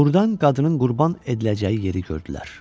Buradan qadının qurban ediləcəyi yeri gördülər.